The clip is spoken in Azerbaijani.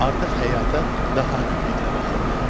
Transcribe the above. Artıq həyata daha ümidlə baxırdı.